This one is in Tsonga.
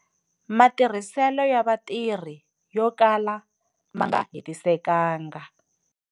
Matirhiselo ya vatirhi yo kala ma nga hetisekanga.